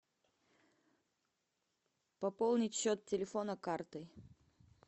пополнить счет телефона картой